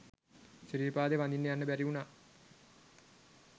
සිරීපාදේ වදින්ට යන්ට බැරි උනා